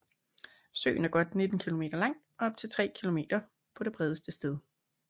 Søen er godt 19 km lang og op til 3 km på det bredeste sted